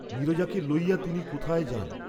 নীরজাকে লইয়া তিনি কোথায় যান!